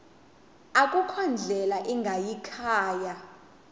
akukho ndlela ingayikhaya